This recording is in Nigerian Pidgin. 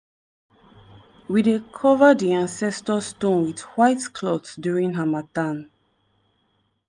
we dey cover di ancestor stone with white cloth during harmattan.